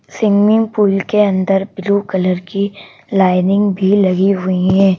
Swimming pool के अंदर blue colour की लाइनिंग भी लगी हुई है।